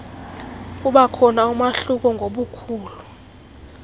kubakhona umahluko ngobukhulu